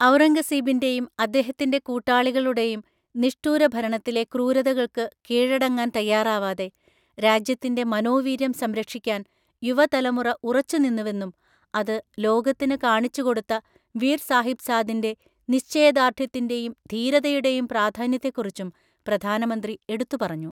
ഔറംഗസീബിന്റെയും അദ്ദേഹത്തിന്റെ കൂട്ടാളികളുടെയും നിഷ്ഠൂരഭരണത്തിലെ ക്രൂരതകൾക്ക് കീഴടങ്ങാൻ തയ്യാറാവാതെ രാജ്യത്തിന്റെ മനോവീര്യം സംരക്ഷിക്കാൻ യുവതലമുറ ഉറച്ചുനിന്നുവെന്നും, അത് ലോകത്തിന് കാണിച്ച് കൊടുത്ത വീർ സാഹിബ്സാദിന്റെ നിശ്ചയദാർഢ്യത്തിന്റെയും ധീരതയുടെയും പ്രാധാന്യത്തെക്കുറിച്ചും പ്രധാനമന്ത്രി എടുത്തുപറഞ്ഞു.